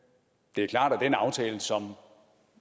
det er klart at den aftale som